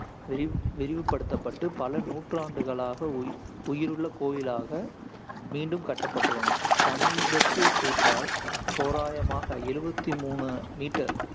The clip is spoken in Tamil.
விரிவு விரிவுபடுத்தப்பட்டு, பல நூற்றாண்டுகளாக உய்~ உயிருள்ள கோயிலாக மீண்டும் கட்டப்பட்டுள்ளன. சமீபத்திய சேர்த்தால், தோராயமாக எழுவத்தி மூணு meter